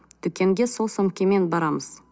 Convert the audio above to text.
дүкенге сол сөмкемен барамыз